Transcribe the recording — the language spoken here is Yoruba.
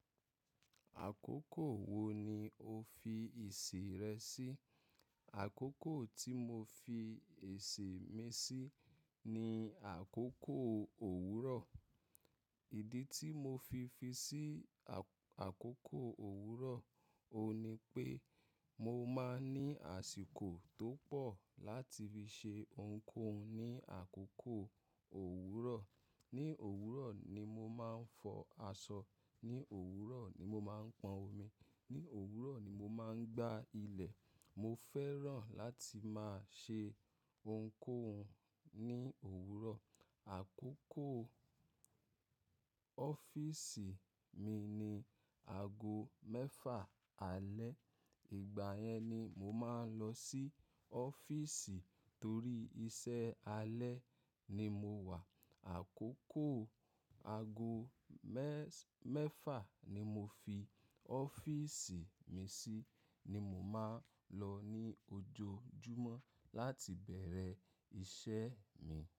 Àkókò wo ni o fi isirẹ sí? Àkókò tí mo fi èsì mi sí ni àkókò òwúrọ̀. Ìdí tí mo fi fi sí àkókò òwúrọ̀, òní pé mo máa ń ní àsìkò tó pọ̀ láti fi ṣe ohunkóhun ní àkókò òwúrọ̀. Ni òwúrọ̀ ni mo máa ń fọ aṣọ. Ni òwúrọ̀ ni mo máa ń pọn omi. Ni òwúrọ̀ ni mo máa ń gbá ilẹ̀. Mo fẹ́ràn láti máa ṣe ohunkóhun ní òwúrọ̀. Àkókò ọ́fíìsì mi ni ago mẹ́fa àálẹ́. Ìgbà yẹn ni mo máa ń lọ sí ọ́fíìsì torí iṣẹ́ alẹ́ ni mo wà. Àkókò ago mẹ́fa ni mo fi ọ́fíìsì mi sí ni mo máa ń lọ ní ojoojúmọ́ láti bẹ̀rẹ̀ iṣẹ́ mi.